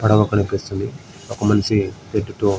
పడవ కనిపిస్తుంది ఒక మనిషి ఎక్కుతు--